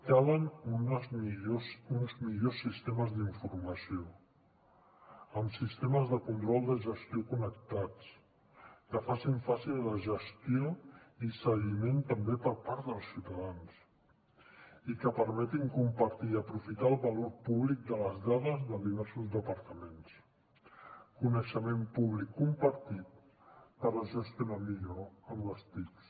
calen uns millors sistemes d’informació amb sistemes de control de gestió connectats que facin fàcil la gestió i seguiment també per part dels ciutadans i que permetin compartir i aprofitar el valor públic de les dades de diversos departaments coneixement públic compartit per gestionar millor amb les tic